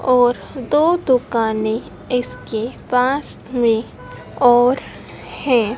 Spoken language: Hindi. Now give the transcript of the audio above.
और दो दुकानें इसके पास में और है।